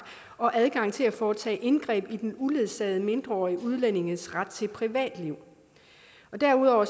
og adgang til at foretage indgreb i den uledsagede mindreårige udlændings ret til privatliv derudover